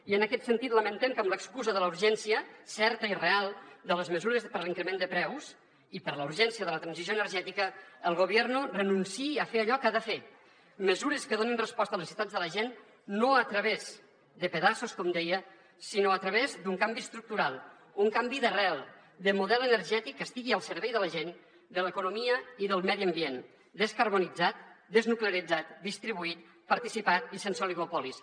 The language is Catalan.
i en aquest sentit lamentem que amb l’excusa de la urgència certa i real de les mesures per l’increment de preus i per la urgència de la transició energètica el gobierno renunciï a fer allò que ha de fer mesures que donin resposta a les necessitats de la gent no a través de pedaços com deia sinó a través d’un canvi estructural un canvi d’arrel de model energètic que estigui al servei de la gent de l’economia i del medi ambient descarbonitzat desnuclearitzat distribuït participat i sense oligopolis